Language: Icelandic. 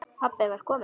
Pabbi var kominn.